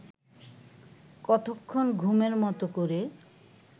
কতক্ষণ ঘুমের মত করে